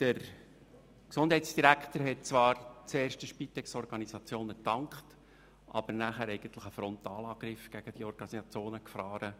Der Gesundheitsdirektor hat zwar zuerst den Spitexorganisationen gedankt, aber danach einen Frontalangriff gegen diese gefahren.